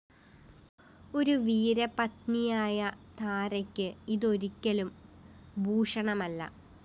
ഒരു വീരപത്‌നിയായ താരയ്ക്ക് ഇതൊരിക്കലും ഭൂഷണമല്ല